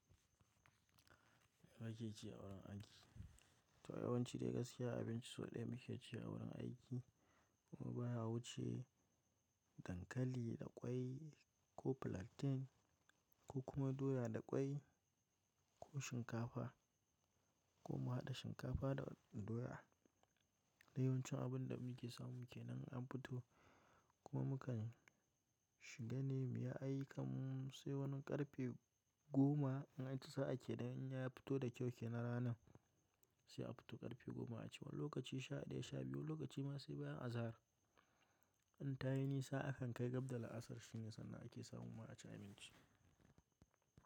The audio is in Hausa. Wa ke cewa wurin aiki? To yawanci dai gaskiya abinci sau ɗaya muke cewa wurin aiki kuma baya wuce dankali da ƙwai ko plantain ko kuma doya da ƙwai ko shinkafa ko mu haɗa shinkafa da doya. Yawanci abin da muke samu kenan an fito kuma mukan shiga nemi ya aiki mu sai wani ƙarfe goma in an ci sa'a ke da in ya fito da kyau kenan ranan sai a fito ƙarfe goma a cewa lokaci sha ɗaya sha biyu lokaci masu baya azahar. An tayi nisa akan kai gaɓɗa la'asar shinge sannan ake samu ma a ci abinci.